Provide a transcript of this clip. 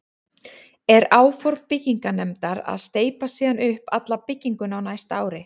Er áform byggingarnefndar að steypa síðan upp alla bygginguna á næsta ári.